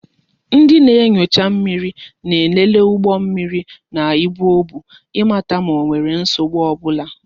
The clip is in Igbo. Ndị na-enyocha mmiri na-elele ụgbọ mmiri na ibu ọ bụ ịmata ma onwere nsogbu ọbụla